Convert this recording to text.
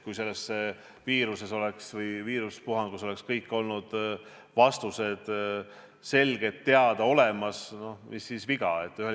Kui selle viiruspuhangu ajal oleks kõik vastused olnud selged, teada ja olemas, no mis siis viga oleks olnud.